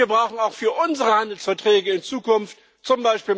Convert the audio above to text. Und wir brauchen auch für unsere Handelsverträge in Zukunft z.